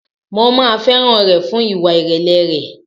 Mo máa fẹ́ràn rẹ̀ fún ìwà ìrẹ̀lẹ̀ rẹ̀.